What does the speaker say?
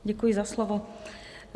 Děkuji za slovo.